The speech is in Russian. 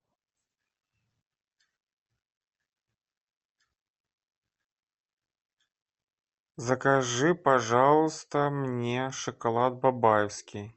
закажи пожалуйста мне шоколад бабаевский